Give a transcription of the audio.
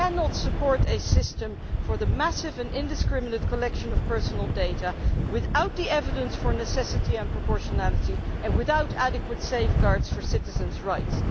We cannot support a system for the massive and indiscriminate collection of personal data without the evidence for necessity and proportionality and without adequate safeguards for citizens' rights.